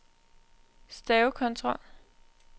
stavekontrol